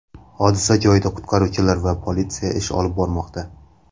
Hodisa joyida qutqaruvchilar va politsiya ish olib bormoqda.